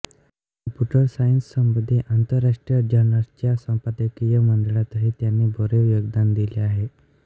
computer सायन्ससंबंधी आंतरराष्ट्रीय जर्नल्सच्या संपादकीय मंडळांतही त्यांनी भरीव योगदान दिले आहे